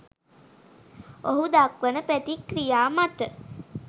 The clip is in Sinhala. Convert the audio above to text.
ඔහු දක්වන ප්‍රතික්‍රියා මත